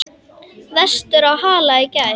Vestur á Hala í gær.